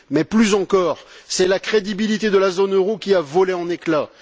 Mais, plus encore, c'est la crédibilité de la zone euro qui a volé en éclat.